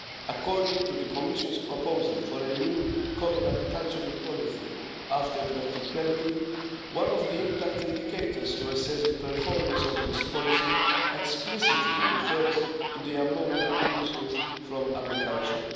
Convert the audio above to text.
According to the Commission's proposal for a new Common Agricultural Policy after 2020, one of the impact indicators to assess the performance of this policy explicitly refers to the ammonia emissions from agriculture.